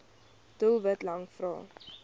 doelwit lang vrae